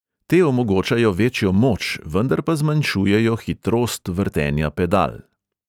Te omogočajo večjo moč, vendar pa zmanjšujejo hitrost vrtenja pedal.